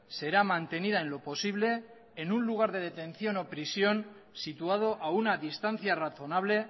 será mantenida en lo posible en un lugar de detención o prisión situado a una distancia razonable